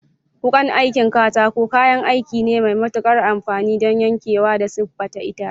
Wukan aikin katako kayan aiki ne mai matuƙar amfani don yankewa da siffata itace.